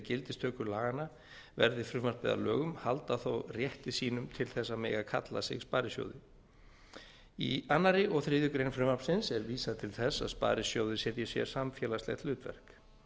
gildistöku laganna verði frumvarpið að lögum halda þó rétti sínum til þess að mega kalla sig sparisjóði í annarri grein og þriðju greinar frumvarpsins er vísað til þess að sparisjóðir setji sér samfélagslegt hlutverk